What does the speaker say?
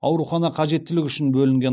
қажеттілігі үшін бөлінген